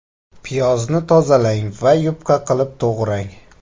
Piyozni tozalang va yupqa qilib to‘g‘rang.